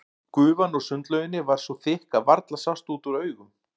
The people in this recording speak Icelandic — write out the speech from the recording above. Gufan úr sundlauginni var svo þykk að varla sást út úr augum.